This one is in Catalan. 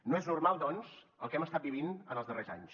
no és normal doncs el que hem estat vivint en els darrers anys